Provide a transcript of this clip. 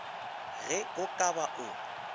ge o ka ba o